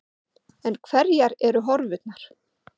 En hverjar eru horfurnar?